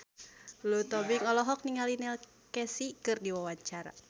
Lulu Tobing olohok ningali Neil Casey keur diwawancara